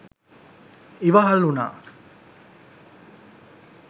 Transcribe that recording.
ඉවහල් වුණා.